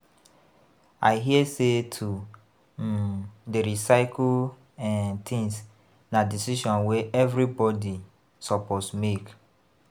I hear sey to um dey recycle um tins na decision wey everybodi suppose make.